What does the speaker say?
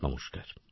নমস্কার